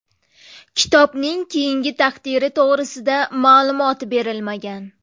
Kitobning keyingi taqdiri to‘g‘risida ma’lumot berilmagan.